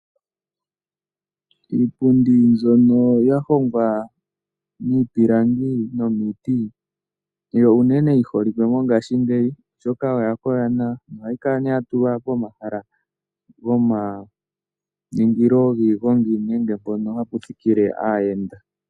Iipundi mbyono yahongwa miipilangi nomiiti oyo unene yi holikwe mongashingeyi, oshoka oya koka nawa. Ohayi kala nee ya tulwa pomahala goma ningilo giigongi nenge mpono hapu thikile aayenda.